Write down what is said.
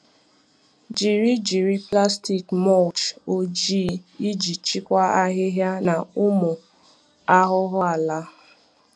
Jiri Jiri plastic mulch ojii iji chịkwaa ahịhịa na ụmụ ahụhụ ala.